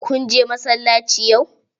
Kun je masallaci yau?